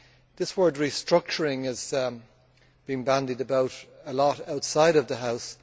This word restructuring' is being bandied about a lot outside the House.